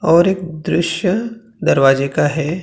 और एक दृश्य दरवाजे का है।